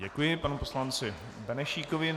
Děkuji panu poslanci Benešíkovi.